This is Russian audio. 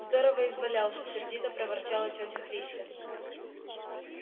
здорово извалялся сердито проворчала тётя христя